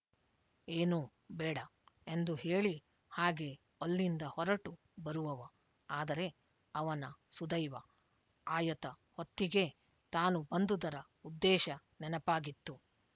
ಏನೂ ಬೇಡ ಎಂದು ಹೇಳಿ ಹಾಗೇ ಅಲ್ಲಿಂದ ಹೊರಟು ಬರುವವ ಆದರೆ ಅವನ ಸುದೈವ ಆಯತ ಹೊತ್ತಿಗೆ ತಾನು ಬಂದುದರ ಉದ್ದೇಶ ನೆನಪಾಗಿತ್ತು